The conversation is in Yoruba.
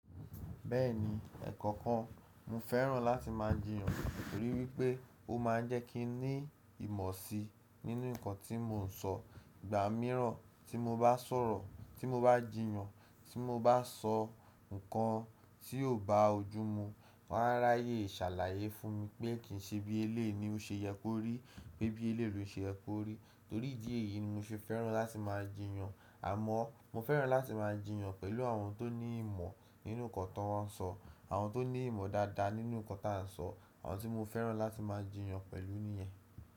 Bẹ́ẹ̀ni, ẹ̀ẹ̀kọ̀kan mo fẹ́ràn láti máa jiyàn nítorí wípé ó máa ń jẹ́ kí n ní ìmọ̀ si nínú nǹkan tí mò ń sọ. Ìgbà mìíràn tí mo bá sọ̀rọ̀, tí mo bá jiyàn, tí mo bá sọ ǹkan tí ò bá ojú mu, wọ́n á ráyè ṣàlàyé fún mi pé kí n ṣe bí éléyì ni ó ṣe ye kó rí, pé bí éléyì lo se ye kó rí. Torí ìdí èyí ni mo ṣe fẹ́ràn láti máa jiyàn. Àmọ́ mo fẹ́ràn láti máa jiyàn pẹ̀lú àwọn tó ní ìmọ̀ nínú nǹkan tó wọ́n sọ, àwọn tó ní ìmọ̀ dáadáa nínú nǹkan tá ń sọ, àwọn tí mo fẹ́ràn láti máa jiyàn pẹ̀lú nìyẹn.